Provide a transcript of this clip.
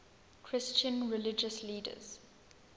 christian religious leaders